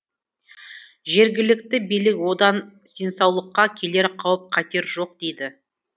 жергілікті билік одан денсаулыққа келер қауіп қатер жоқ дейді